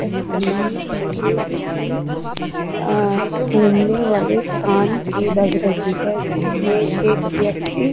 तस्वीर मुझे किसी आ घुमने वाले स्थान की लग रही है जिसमे एक व्यक्ति --